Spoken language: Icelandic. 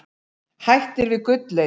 Hættir við gullleit